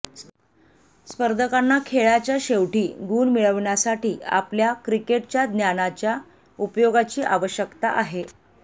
स्पर्धकांना खेळाच्या शेवटी गुण मिळवण्यासाठी आपल्या क्रिकेटच्या ज्ञानाच्या उपयोगाची आवश्यकता आहे